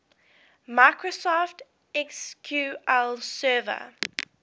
microsoft sql server